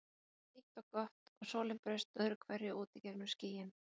Veðrið var hlýtt og gott og sólin braust öðru hverju út í gegnum skýin.